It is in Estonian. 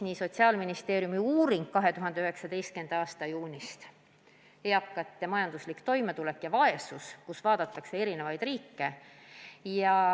Aga Sotsiaalministeeriumi uuringus 2019. aasta juunist "Eakate majanduslik toimetulek ja vaesus" vaadatakse erinevaid riike.